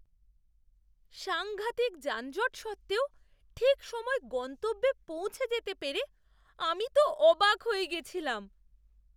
সাঙ্ঘাতিক যানজট সত্ত্বেও ঠিক সময়ে গন্তব্যে পৌঁছে যেতে পেরে আমি তো অবাক হয়ে গেছিলাম!